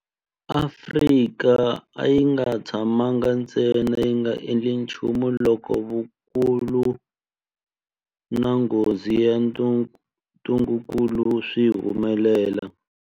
Afrika a yi nga tshamangi ntsena yi nga endli nchumu loko vukulu na nghozi ya ntungukulu swi humelela.